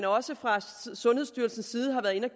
også fra sundhedsstyrelsens side har været inde